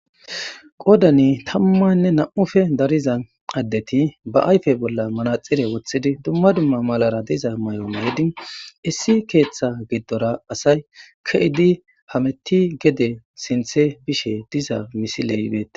Qoodani tammanne nam'ufe dariza addeti ba ayfe bolla manaxire wothidi dumma dumma malara diza may'omayedin issi keeththa giddora asay ke'idi hametti gede sinthe bishe diza misile ibeete.